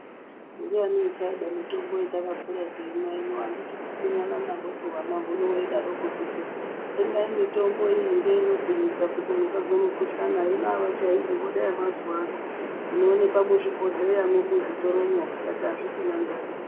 Ndiani uchada mitombo ino yatakakura teimwa ino anditi kupfinyana nahwosu hwana hino weidaroko kuti tsengai mitombo iyi ndiyona inogwinyisa kuti musazwe mukuhlana hino avachaidi voda yemazuwa ano inoonekwa muzvibhodhleyamwo muzvitoromwo tikati azvichina ndaa.